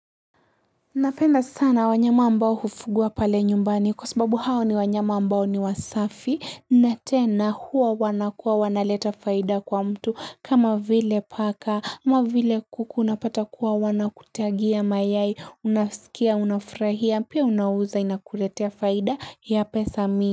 Napenda sana wanyama ambao hufugwa pale nyumbani kwa sababu hao ni wanyama ambao ni wasafi na tena huwa wanakuwa wanaleta faida kwa mtu kama vile paka vile kuku unapata kuwa wanakutagia mayai unasikia unafurahia pia unauza inakuletea faida ya pesa mingi.